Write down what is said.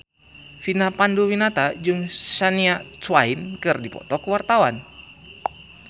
Vina Panduwinata jeung Shania Twain keur dipoto ku wartawan